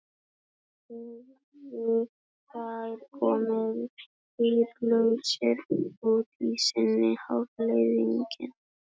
Þá hefðu þær komið dýrvitlausar út í seinni hálfleikinn.